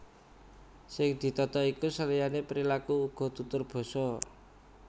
Sing ditata iku seliyané perilaku uga tutur basa